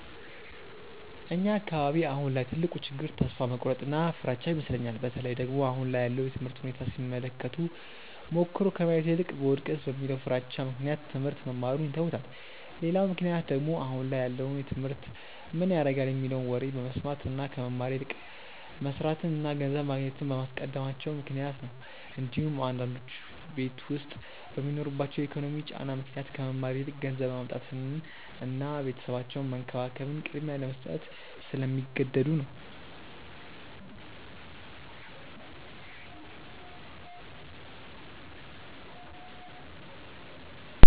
እኛ አካባቢ አሁን ላይ ትልቁ ችግር ተስፋ መቁረጥ እና ፍራቻ ይመስለኛል። በተለይ ደግሞ አሁን ላይ ያለውን የትምህርት ሁኔታ ሲመለከቱ ሞክሮ ከማየት ይልቅ ብወድቅስ በሚለው ፍራቻ ምክንያት ትሞህርት መማሩን ይተውታል። ሌላው ምክንያት ደግሞ አሁን ላይ ያለውን ትምህርት ምን ያረጋል የሚለውን ወሬ በመስማት እና ከመማር ይልቅ መስርትን እና ገንዘብ ማግኘትን በማስቀደማቸው ምክንያት ነው እንዲሁም አንዳንዶቹ ቤት ዉስጥ በሚኖርባቸው የኢኮኖሚ ጫና ምክንያት ከመማር ይልቅ ገንዘብ ማምጣትን እና ቤተሰባቸውን መንከባከብን ቅድሚያ ለመስጠት ስለሚገደዱ ነው።